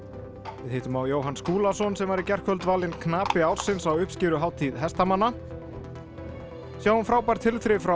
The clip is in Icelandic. við hittum á Jóhann Skúlason sem var í gærkvöld valinn knapi ársins á uppskeruhátíð hestamanna sjáum frábær tilþrif frá